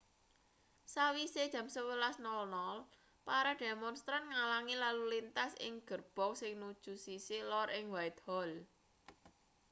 sawise jam 11.00 para demonstran ngalangi lalu lintas ing gerbong sing nuju sisih lor ing whitehall